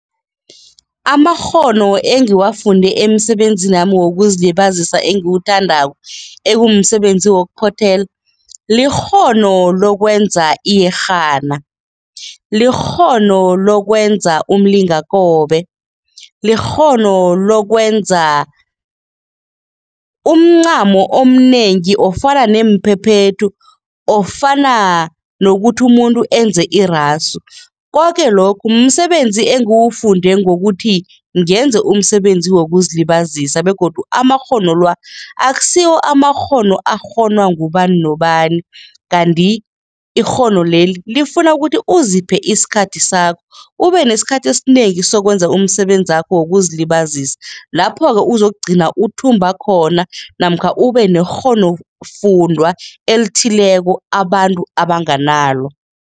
Amakghono engiwafunde emsebenzini wami wokuzilibazisa engiwuthandako, ekumsebenzi wokuphothela, likghono lokwenza iyerhana, likghono lokwenza umlingakobe, likghono lokwenza umncamo omnengi ofana neemphephethu, ofana nokuthi umuntu enze irasu, koke lokhu msebenzi engiwufunde ngokuthi ngenze umsebenzi wokuzilibazisa begodu amakghono la akusiwo amakghono akghonwa ngubani nobani kanti ikghono leli lifuna ukuthi uziphe isikhathi sakho ubenesikhathi esinengi sokwenza umsebenzakho wokuzilibazisa lapho-ke uzokugcina uthumba khona namkha ubekghonofundwa elithileko abantu abanganalo.